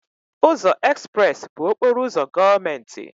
Ụzọ Express bụ okporo ụzọ gọọmenti.